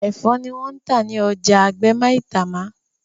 ẹfọ ni wón tá ní ọjà àgbè Maitama